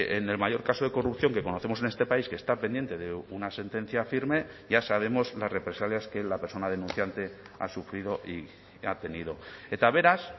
en el mayor caso de corrupción que conocemos en este país que está pendiente de una sentencia firme ya sabemos las represalias que la persona denunciante ha sufrido y ha tenido eta beraz